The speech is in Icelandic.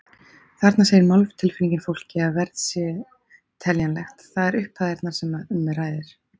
Þarna segir máltilfinningin fólki að verð sé teljanlegt, það er upphæðirnar sem um ræðir.